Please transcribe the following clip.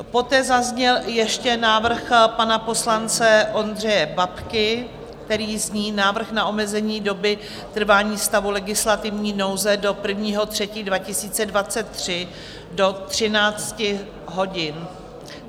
Poté zazněl ještě návrh pana poslance Ondřeje Babky, který zní Návrh na omezení doby trvání stavu legislativní nouze do 1. 3. 2023, do 13 hodin.